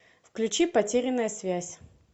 включи потерянная связь